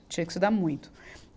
Tinha que estudar muito.